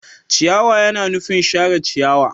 Ciyawa yana nufin share ciyawa.